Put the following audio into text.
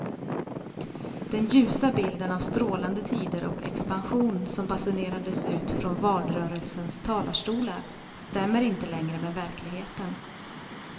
Den ljusa bilden av strålande tider och expansion som basunerades ut från valrörelsens talarstolar stämmer inte längre med verkligheten.